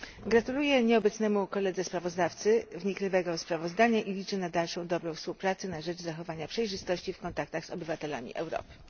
Gratuluję nieobecnemu koledze sprawozdawcy wnikliwego sprawozdania i liczę na dalszą dobrą współpracę na rzecz zachowania przejrzystości w kontaktach z obywatelami Europy.